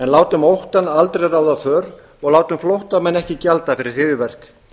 látum óttann aldrei ráða för og látum flóttamenn ekki gjalda fyrir hryðjuverk